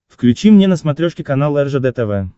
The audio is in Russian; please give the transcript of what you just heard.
включи мне на смотрешке канал ржд тв